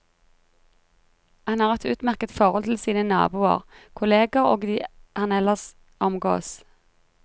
Han har et utmerket forhold til sine naboer, kolleger og de han ellers omgås.